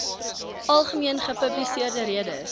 algemene gepubliseerde redes